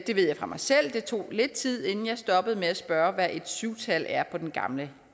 det ved jeg fra mig selv det tog lidt tid inden jeg stoppede med at spørge hvad et syv tal er på den gamle